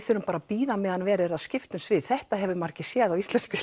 þurfum að bíða meðan verið er að skipta um svið þetta hefur maður ekki séð á íslenskri